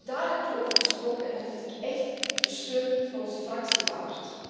Ook daar heeft u over gesproken en dat vind ik echt de steun van onze fractie waard.